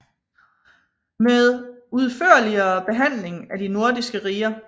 Med udførligere Behandling af de nordiske Riger